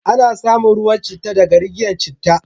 Ana samun ruwan citta daga riggiyan citta.